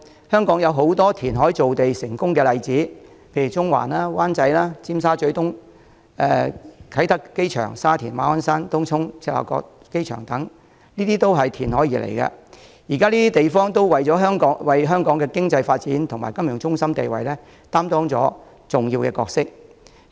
香港有很多填海造地的成功例子，例如中環、灣仔、尖沙咀東、啟德機場、沙田、馬鞍山、東涌、赤鱲角機場等都是填海而來，現時這些地方都為香港的經濟發展和金融中心地位擔當重要的角色。